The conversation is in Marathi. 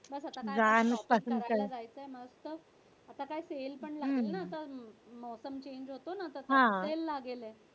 बस आता काय फिरायला जायचं मस्त आता काय sale पण लागेल ना तर change होतो ना तो sale लागेल